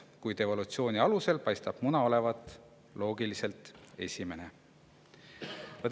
Kuid evolutsiooni alusel paistab muna olevat loogiliselt võttes esimene.